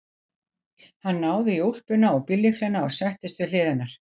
Hann náði í úlpuna og bíllyklana og settist við hlið hennar.